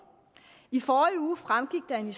i forrige uge fremgik det af en